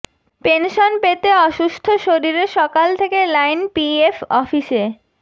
pension পেতে অসুস্থ শরীরে সকাল থেকে লাইন পিএফ অফিসে